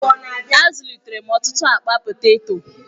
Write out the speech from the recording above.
Azụlitere m ọtụtụ akpa poteto.